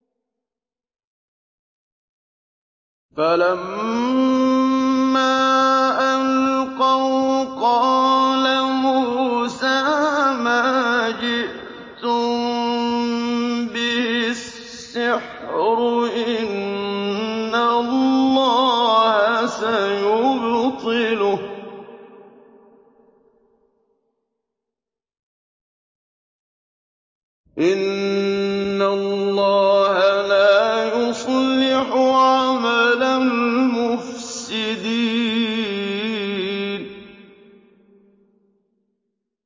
فَلَمَّا أَلْقَوْا قَالَ مُوسَىٰ مَا جِئْتُم بِهِ السِّحْرُ ۖ إِنَّ اللَّهَ سَيُبْطِلُهُ ۖ إِنَّ اللَّهَ لَا يُصْلِحُ عَمَلَ الْمُفْسِدِينَ